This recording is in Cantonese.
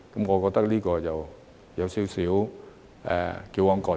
我覺得有點矯枉過正。